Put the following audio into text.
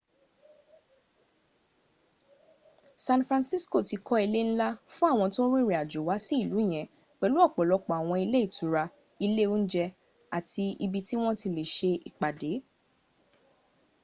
san francisco ti ka ilé ńlá fún àwọn tó rìnrìn àjò wá sí ìlú yẹn pẹ̀lú ọ̀pọ̀lọpọ̀ àwọn ilé ìtura ilé óúnjé àti ibi tí wọ́n ti lè ṣe ìpàdé